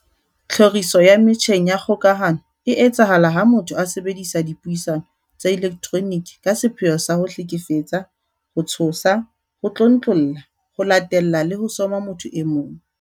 Tlhoriso ya metjheng ya kgokahano e etsahala ha motho a sebedisa dipuisano tsa elektroniki ka sepheo sa ho hlekefetsa, ho tshosa, ho tlontlolla, ho latella le ho soma motho e mong.